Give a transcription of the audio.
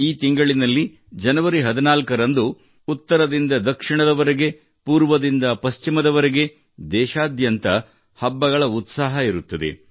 ಈ ತಿಂಗಳಿನಲ್ಲಿ ಜನವರಿ 14 ರಂದು ಉತ್ತರದಿಂದ ದಕ್ಷಿಣದವರೆಗೆ ಮತ್ತು ಪೂರ್ವದಿಂದ ಪಶ್ಚಿಮದವರೆಗೆ ದೇಶಾದ್ಯಂತ ಹಬ್ಬಗಳ ಉತ್ಸಾಹವಿರುತ್ತದೆ